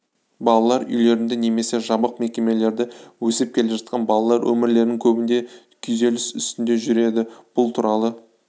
балалар үйлерінде немесе жабық мекемелерде өсіп келе жатқан балалар өмірлерінің көбінде күйзеліс үстінде жүреді бұл туралы